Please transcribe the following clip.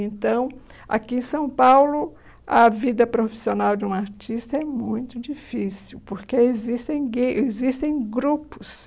Então, aqui em São Paulo, a vida profissional de um artista é muito difícil, porque existem gue existem grupos.